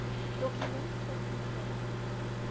dokument sit kinderregte